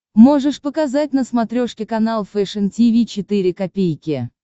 можешь показать на смотрешке канал фэшн ти ви четыре ка